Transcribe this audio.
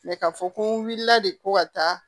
ka fɔ ko n wulila de ko ka taa